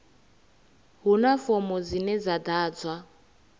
huna fomo dzine dza ḓadzwa